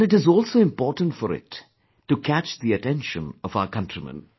And it is also important for it to catch the attention of our countrymen